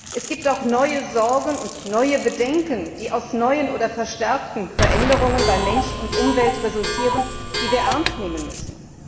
Es gibt auch neue Sorgen und neue Bedenken, die aus neuen oder verstärkten Veränderungen bei Mensch und Umwelt resultieren, die wir ernst nehmen müssen.